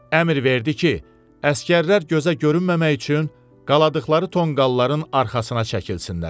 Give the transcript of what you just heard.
Əmr verdi ki, əsgərlər gözə görünməmək üçün qaldıqları tonqalların arxasına çəkilsinlər.